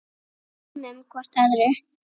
Við gleymum hvort öðru.